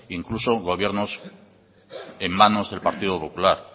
incluso gobiernos en manos del partido popular